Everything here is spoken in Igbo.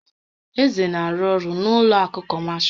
Eze na-arụ ọrụ n'ụlọ àkụ̀ kọmashal.